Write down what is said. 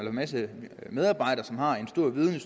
en masse medarbejdere som har en stor viden